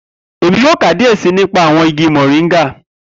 Emi yoo ka diẹ sii nipa awọn igi moringa